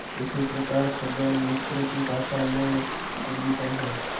इसी प्रकार सदल मिश्र की भाषा में पूर्वीपन है